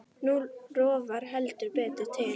Nú rofar heldur betur til.